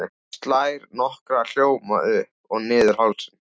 Slær nokkra hljóma upp og niður hálsinn.